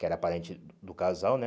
Que era parente do casal, né?